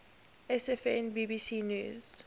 sfn bbc news